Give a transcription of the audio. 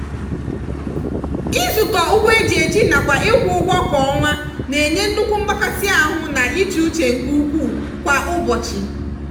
izukọ ụgwọ eji eji nakwa ịkwụ ụgwọ kwa ọnwa na-enye nnukwu mgbakasi ahụ na íchè uche nke ukwuu kwa ụbọchị.